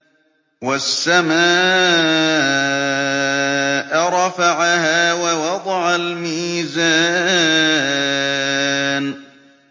وَالسَّمَاءَ رَفَعَهَا وَوَضَعَ الْمِيزَانَ